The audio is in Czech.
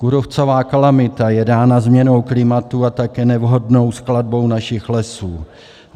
Kůrovcová kalamita je dána změnou klimatu a také nevhodnou skladbou našich lesů.